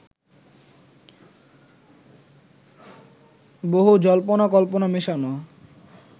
বহু জল্পনা-কল্পনা মেশানো